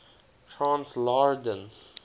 transl ar din